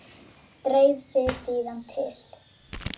Dreif sig síðan til